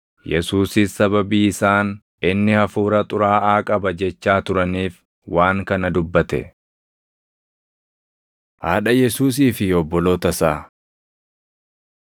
Yesuusis sababii isaan, “Inni hafuura xuraaʼaa qaba” jechaa turaniif waan kana dubbate. Haadha Yesuusii fi Obboloota Isaa 3:31‑35 kwf – Mat 12:46‑50; Luq 8:19‑21